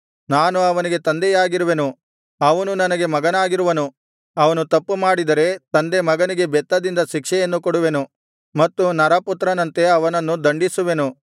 ನಾನು ಅವನಿಗೆ ತಂದೆಯಾಗಿರುವೆನು ಅವನು ನನಗೆ ಮಗನಾಗಿರುವನು ಅವನು ತಪ್ಪು ಮಾಡಿದರೆ ತಂದೆ ಮಗನಿಗೆ ಬೆತ್ತದಿಂದ ಶಿಕ್ಷೆಯನ್ನು ಕೊಡುವೆನು ಮತ್ತು ನರಪುತ್ರರಂತೆ ಅವನನ್ನು ದಂಡಿಸುವೆನು